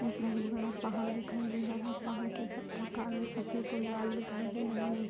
एक बहुत बड़ा पहाड़ दिखाई दे रहा है पहाड़ के पत्थर काले सफेद और लाल दिखाई दे रहे है नि --